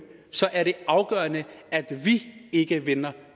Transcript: så er det afgørende at vi ikke vender